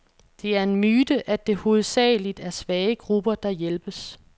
Det er en myte, at det hovedsageligt er svage grupper, der hjælpes.